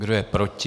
Kdo je proti?